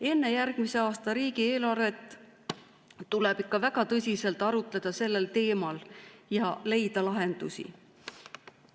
Enne järgmise aasta riigieelarvet tuleb ikka väga tõsiselt arutleda sellel teemal ja leida lahendusi.